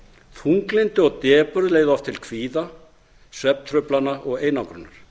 þunglyndi og depurð leiða oft til kvíða svefntruflana og einangrunar